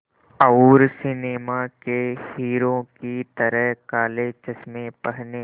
और सिनेमा के हीरो की तरह काले चश्मे पहने